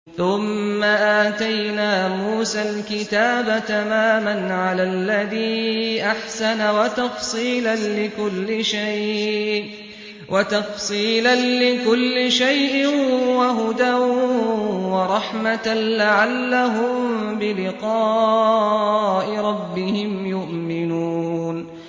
ثُمَّ آتَيْنَا مُوسَى الْكِتَابَ تَمَامًا عَلَى الَّذِي أَحْسَنَ وَتَفْصِيلًا لِّكُلِّ شَيْءٍ وَهُدًى وَرَحْمَةً لَّعَلَّهُم بِلِقَاءِ رَبِّهِمْ يُؤْمِنُونَ